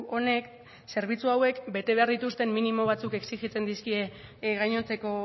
honek zerbitzu hauek bete behar dituzten minimo batzuk exijitzen dizkie gainontzeko